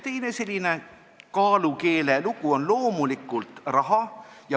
Teine selline kaalukeelelugu on loomulikult raha.